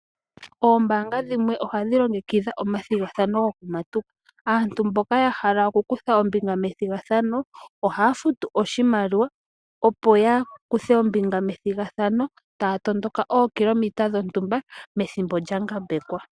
Oombaanga dhimwe ohadhi longekidha omathigathano goku matuka. Aantu mboka ya hala oku kutha ombinga methigathano, ohaya futu, oshimaliwa opo ya kuthe ombinga methigathano, taya tondoka ookilometa dhontumba, methimbo lya ngambekwa.